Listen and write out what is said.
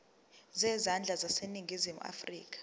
zezandla zaseningizimu afrika